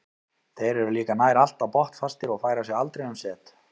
Þeir eru líka nær alltaf botnfastir og færa sig aldrei um set.